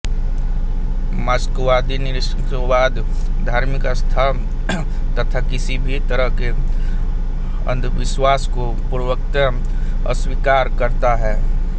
मार्क्सवादी निरीश्वरवाद धार्मिक आस्था तथा किसी भी तरह के अंधविश्वास को पूर्णतः अस्वीकार करता है